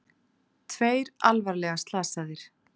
Tveir alvarlega slasaðir